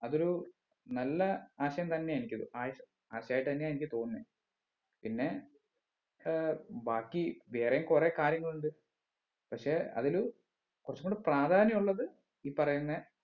അതൊരു നല്ല ആശയം തന്നെ ആയിരിക്കും ആശ ആശയം ആയിട്ട് തന്നെയാ എനിക്ക് തോന്നുന്നേ പിന്നെ ഏർ ബാക്കി വേറെയും കുറേ കാര്യങ്ങൾ ഉണ്ട് പക്ഷെ അതില് കുറച്ചുംകൂടി പ്രാധാന്യം ഉള്ളത് ഈ പറയുന്ന